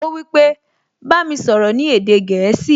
Ó wípé, "Bá mi sọ̀rọ̀ ní èdè gẹ̀ẹ́sì"